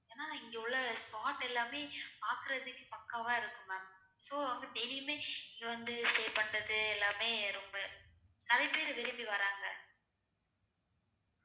ஏனா இங்க உள்ள spot எல்லாமே பாக்குறதுக்கே பக்கவா இருக்கும் ma'am so அங்க daily யுமே இங்க வந்து stay பண்ணுறது எல்லாமே ரொம்ப நெறையாபேரு விரும்பி வாராங்க